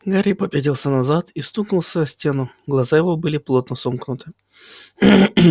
гарри попятился назад и стукнулся о стену глаза его были плотно сомкнуты